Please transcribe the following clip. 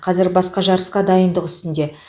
қазір басқа жарысқа дайындық үстінде